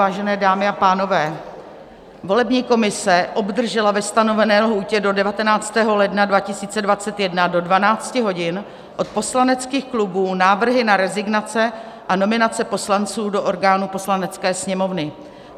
Vážené dámy a pánové, volební komise obdržela ve stanovené lhůtě do 19. ledna 2021 do 12 hodin od poslaneckých klubů návrhy na rezignace a nominace poslanců do orgánů Poslanecké sněmovny.